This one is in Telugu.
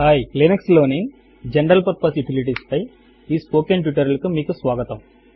హాయ్ లినక్స్ లోని జనరల్ పర్పజ్ యుటిలిటీస్ పై ఈ స్పోకెన్ ట్యూటోరియల్ కు మీకు స్వాగతం